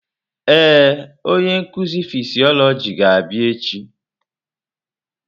Ee, onye nkuzi fịsiolojị ga-abịa echi.